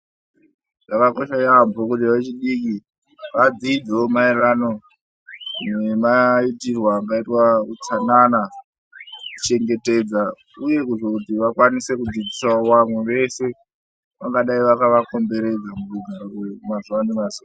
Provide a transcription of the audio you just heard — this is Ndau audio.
Zvakakosha yambo kuti vechidiki vadzidzewo mayererano nemaitirwo anoitwa utsanana kuchengetedza uye kuzoti vakwanisewo kudzidzisa vamwe vese vangadai vakava komberedza mukugara mazuva nemazuva.